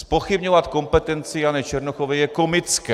Zpochybňovat kompetenci Jany Černochové je komické.